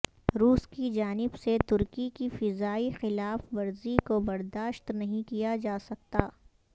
روس کی جانب سے ترکی کی فضائی خلاف ورزی کو برداشت نہیں کیا جاسکتا